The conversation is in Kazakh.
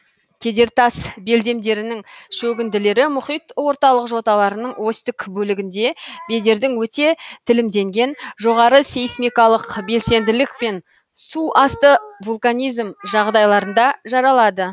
кедертас белдемдерінің шөгінділері мұхит орталық жоталарының осьтік бөлігінде бедердің өте тілімденген жоғары сейсмикалық белсенділік пен суасты вулканизм жағдайларында жаралады